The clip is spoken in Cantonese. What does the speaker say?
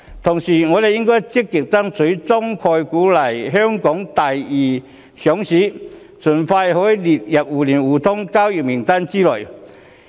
同時，我們應該積極爭取中概股來香港作第二上市，以便盡快可以列入互聯互通交易名單內。